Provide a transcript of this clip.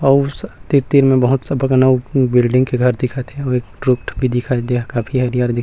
अऊ तीर-तीर मे स बहुत कन बिल्डिंग के घर दिखत हे अऊ एक काफी हरियर दिख--